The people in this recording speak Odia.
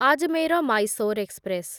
ଆଜମେର ମାଇସୋର ଏକ୍ସପ୍ରେସ